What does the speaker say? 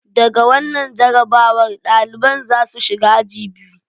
Da ga wannan jarrabawar, daliban za su shiga aji biyu.